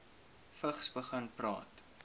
vigs begin praat